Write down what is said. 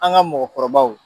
An ka mɔgɔkɔrɔbaw